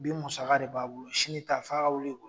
Bi musaka de b'a bolo sini ta f'a ka wili ko ɲini